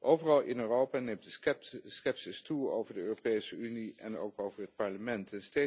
Overal in Europa neemt de scepsis toe over de Europese Unie en ook over het Parlement.